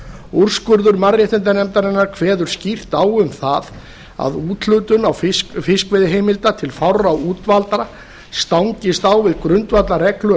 úrskurður mannréttindanefndarinnar kveður skýrt á um það að úthlutun á fiskveiðiheimilda til fárra útvaldra stangist á við grundvallarreglur